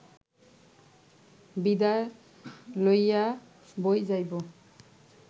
বিদায় লইয়া বৈ-যাইব